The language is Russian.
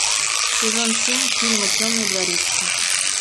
сезон семь фильма темный дворецкий